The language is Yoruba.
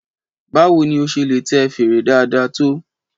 Báwo ni o ṣe lè tẹ fèrè dáadáa tó?